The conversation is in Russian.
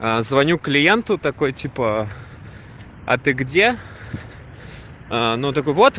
а звоню клиенту такой типа а ты где оно такой вот